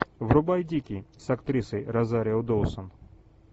врубай дикий с актрисой розарио доусон